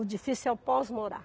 O difícil é o pós-morar.